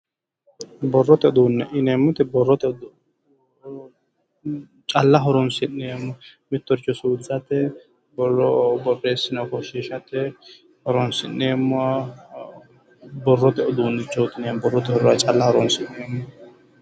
Borrote uduunne yineemmo woyte calla horonsi'neemmo mittoricho suwisate borro borreessi'ne ofoshiishate horonsi'neemmoha borrote uduunnichoti calla horonsi'neemmo